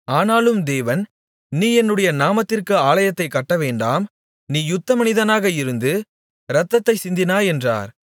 ஆனாலும் தேவன் நீ என்னுடைய நாமத்திற்கு ஆலயத்தைக் கட்டவேண்டாம் நீ யுத்த மனிதனாக இருந்து ரத்தத்தை சிந்தினாய் என்றார்